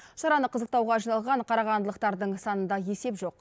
шараны қызықтауға жиналған қарағандылықтардың санында есеп жоқ